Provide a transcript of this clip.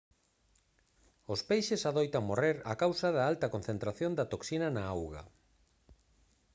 os peixes adoitan morrer a causa da alta concentración da toxina na auga